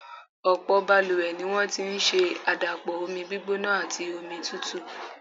Ọ̀pọ̀ balùwẹ̀ ni wọ́n ti ń ṣe àdàpọ̀ omi gbígbóná àti omi tútù.